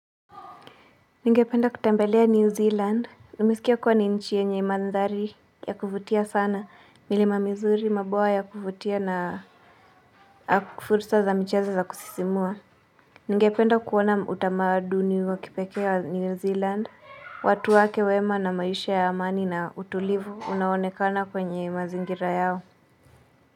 Ningependa kutembelea New Zealand. Nimeisikia kuwa ni nchi yenye mandhari ya kuvutia sana, milima mizuri maboa ya kuvutia na fursa za michezo za kusisimua. Ningependa kuona utamaduni wakipekee wa New Zealand watu wake wema na maisha ya amani na utulivu unaoonekana kwenye mazingira yao.